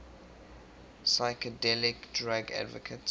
psychedelic drug advocates